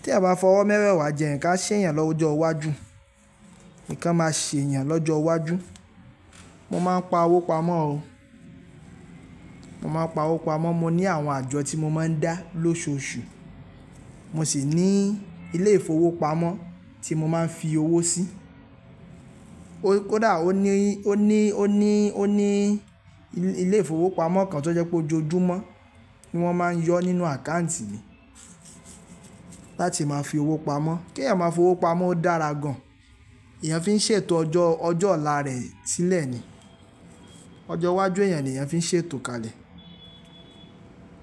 Tí ẹeyan bá fọwọ́ mẹ́wẹ̀ẹ́wá jẹun, nnkan á ṣè eeyàn lọ́jọ́ iwájú. Nǹkan máa ṣe èeyàn lọ́jọ́ iwájú. Mo máa ń pa owó pamọ́ o. Mo máa ń pa owó pamọ́. Mo ní àwọn àjọ tí mo máa ń dá lóṣooṣù. Mo sì ní ilé ìfowópamọ́ tí mo máa ń fi owó sí. O kódà ó ní, ó ní, ó ní, ó ní ilé ìfowópamọ́ kan tó jẹ́ pé ójoojúmọ́ tí wọ́n máa ń yọ nínú àkáùntì mi láti máa fi owó pamọ́. Kí èèyàn máa fi owó pamọ́ o dára gan. Èèyàn fi ń ṣètò ọjọ́, ọjọ́ ọ̀la rẹ̀ sílẹ̀ ni. Ọjọ́ iwájú èèyàn ni èèyàn fi ń ṣètò kalẹ̀.